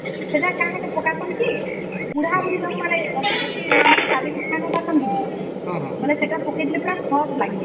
ସେଟା କଣ ହେଲେ ପାକ ହଉସେ ଯେ ବୁଢା ବୁଢ଼ୀ ମାନେ ବେଶୀ ମାଂସ ଚାବି କିରି ଖାଇ ପରସେ କି ନାଇଁ ସେଟା ପକା ଦେଲେ ବନାଇଲେ ପୁରା soft ଲଗଇସନ